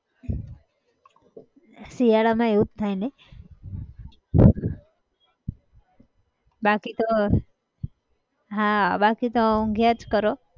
શિયાળામાં એવું જ થાય નહિ! બાકી તો બાકી તો ઊંઘ્યાં જ કરો.